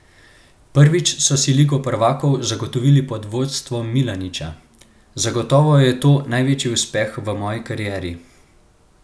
Prvič so si Ligo prvakov zagotovili pod vodstvom Milaniča: "Zagotovo je to največji uspeh v moji karieri.